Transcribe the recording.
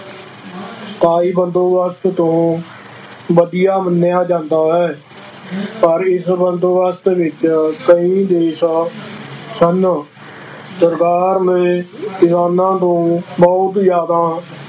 ਸਥਾਈ ਬੰਦੋਬਸਤ ਤੋਂ ਵਧੀਆ ਮੰਨਿਆ ਜਾਂਦਾ ਹੈ ਪਰ ਇਸ ਬੰਦੋਬਸਤ ਵਿੱਚ ਕਈ ਦੋਸ਼ ਸਨ, ਸਰਕਾਰ ਨੇ ਕਿਸਾਨਾਂ ਨੂੰ ਬਹੁਤ ਜ਼ਿਆਦਾ